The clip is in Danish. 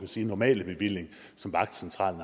sige normale bevilling som vagtcentralen